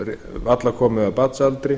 varla komið af barnsaldri